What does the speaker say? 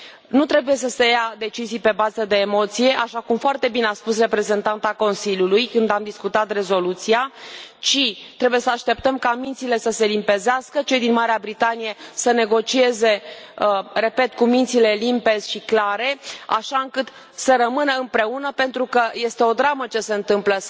Nu trebuie să se ia decizii pe bază de emoție, așa cum foarte bine a spus reprezentanta Consiliului, când am discutat rezoluția, ci trebuie să așteptăm ca mințile să se limpezească, cei din Marea Britanie să negocieze, repet, cu mințile limpezi și clare, așa încât să rămână împreună, pentru că este o dramă ce se întâmplă.